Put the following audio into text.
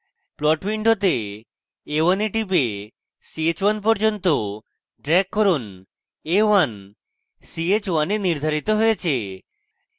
plot window a1 এ টিপে ch1 পর্যন্ত drag করুন a1 ch1 এ নির্ধারিত হয়েছে